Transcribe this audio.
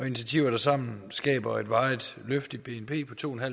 initiativer der sammen skaber et varigt løft i bnp på to